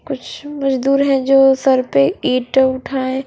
कुछ मजदुर है जो सर पे ईट उठाये--